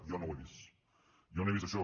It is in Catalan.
jo no ho he vist jo no he vist això